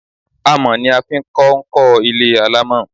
Amọ̀ ni a fi ń kọ́ ń kọ́ ilé alámọ̀